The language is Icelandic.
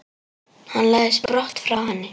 Hann læðist brott frá henni.